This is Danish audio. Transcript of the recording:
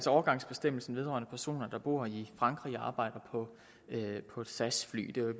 overgangsbestemmelsen vedrørende personer der bor i frankrig og arbejder på et sas fly det